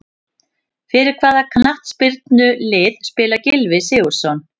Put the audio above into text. Fyrir hvaða knattspyrnulið spilar Gylfi Sigurðsson?